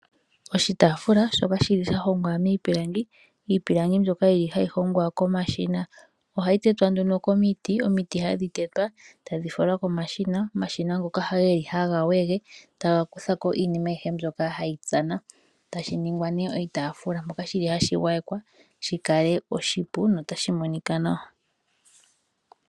Oshitaafula shoka sha hongwa miipilangi, iipilangi mbyoka hayi hongwa komashina. Ohayi tetwa nduno komiti, omiti hadhi tetwa e tayi falwa komashina. Omashina ngoka ohaga wege taga kutha ko iinima ayihe mbyoka hayi tsana e tashi ningwa nduno oshitaafula. Ohashi gwayekwa shi kale oshipu notashi monika nawa.